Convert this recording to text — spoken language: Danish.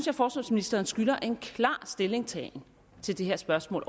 at forsvarsministeren skylder en klar stillingtagen til det her spørgsmål